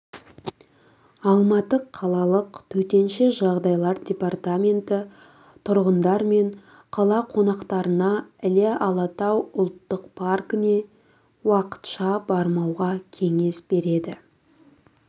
алматы қалалық төтенше жағдайлар департаменті тұрғындар мен қала қонақтарына іле-алатау ұлттық паркіне уақытша бармауға кеңес береді